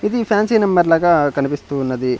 ఇది fancy number లాగా కనిపిస్తూ ఉన్నది.